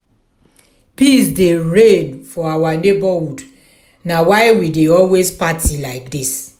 peace dey reign for our neighborhood na why we dey always party like dis